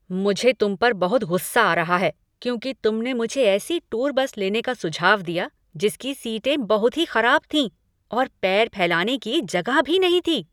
मुझे तुम पर बहुत गुस्सा आ रहा है क्योंकि तुमने मुझे ऐसी टूर बस लेने का सुझाव दिया जिसकी सीटें बहुत ही खराब थीं और पैर फैलाने की जगह भी नहीं थी।